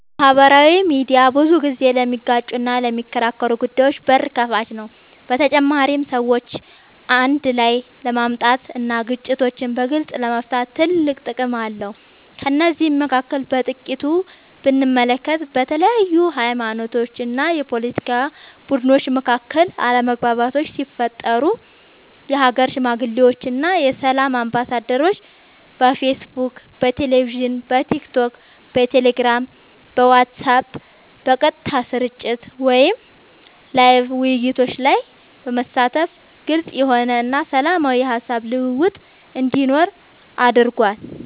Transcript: ማህበራዊ ሚድያ ብዙ ጊዜ ለሚጋጩና ለሚከራከሩ ጉዳዮች በር ከፋች ነው በተጨማሪም ሰዎችን አንድ ላይ ለማምጣት እና ግጭቶችን በግልፅ ለመፍታት ትልቅ ጥቅም አለው ከነዚህም መካከል በጥቂቱ ብንመለከት በተለያዩ ሀይማኖቶች ወይም የፓለቲካ ቡድኖች መካከል አለመግባባቶች ሲፈጠሩ የሀገር ሽማግሌዎች እና የሰላም አምባሳደሮች በፌስቡክ በቴሌቪዥን በቲክቶክ በቴሌግራም በዋትስአብ በቀጥታ ስርጭት ወይም ላይቭ ውይይቶች ላይ በመሳተፍ ግልፅ የሆነ እና ሰላማዊ የሀሳብ ልውውጥ እንዲኖር አድርጓል።